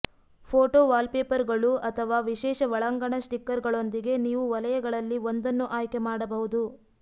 photo ವಾಲ್ಪೇಪರ್ಗಳು ಅಥವಾ ವಿಶೇಷ ಒಳಾಂಗಣ ಸ್ಟಿಕರ್ಗಳೊಂದಿಗೆ ನೀವು ವಲಯಗಳಲ್ಲಿ ಒಂದನ್ನು ಆಯ್ಕೆ ಮಾಡಬಹುದು